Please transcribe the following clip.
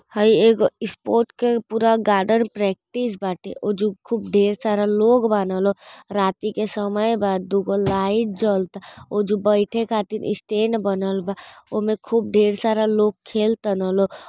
हई एगो स्पोर्ट के पूरा गार्डन प्रैक्टिस बाटे उ जो खूब ढेर सारा लोग बानलो रात्रि के समय बा दुगो लाइट जलता उ जो बैठे खातिर स्टैंड बनल बा उमे खूब ढेर सारा लोग खेलता ना लोग --